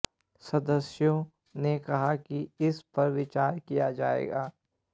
सदस्यों ने कहा कि इस पर विचार किया जाएगा